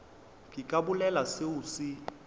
ke ka bolela seo se